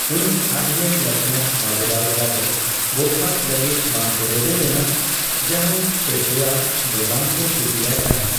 ᱩᱱᱤ ᱟᱪᱨᱮᱱ ᱞᱮᱯᱷᱴᱮᱱᱟᱱᱴ ᱵᱟᱵᱩᱨᱟᱣ ᱡᱟᱫᱚᱵ ᱵᱚᱨᱠᱷᱟᱥᱛᱚ ᱞᱟᱹᱜᱤᱫ ᱵᱟᱝ ᱠᱚ ᱨᱮᱵᱮᱱ ᱞᱮᱱᱟ ᱾ ᱡᱟᱸᱦᱟᱭ ᱯᱮᱥᱳᱭᱟ ᱫᱚ ᱵᱟᱝ ᱠᱚ ᱠᱩᱥᱤ ᱟᱭ ᱛᱟᱸᱦᱮ ᱾